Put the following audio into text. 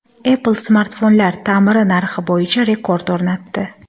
Apple smartfonlar ta’miri narxi bo‘yicha rekord o‘rnatdi.